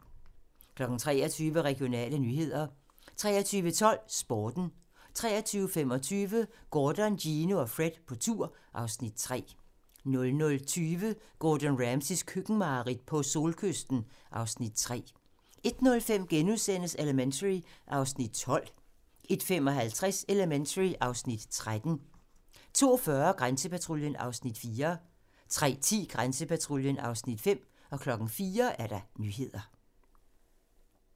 23:00: Regionale nyheder 23:12: Sporten 23:25: Gordon, Gino og Fred på tur (Afs. 3) 00:20: Gordon Ramsays køkkenmareridt - på solkysten (Afs. 3) 01:05: Elementary (Afs. 12)* 01:55: Elementary (Afs. 13) 02:40: Grænsepatruljen (Afs. 4) 03:10: Grænsepatruljen (Afs. 5) 04:00: Nyhederne